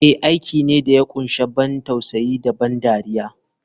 Eh aiki ne da ya kunshi ban tausayi da ban dariya.